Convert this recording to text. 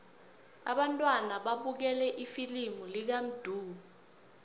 abantwana babukele ifilimu lakamdu